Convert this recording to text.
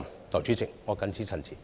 代理主席，我謹此陳辭。